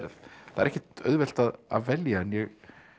ekkert auðvelt að velja en ég